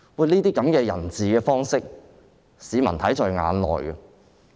這種人治的方式，市民看在眼內。